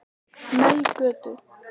Melgötu